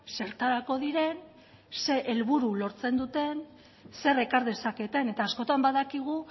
zertarako diren zer helburu lortzen duten zer ekar dezaketen eta askotan badakigu